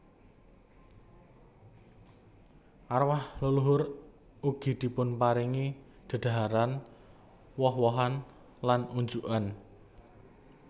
Arwah leluhur ugi dipunparingi dedhaharan woh wohan lan unjukan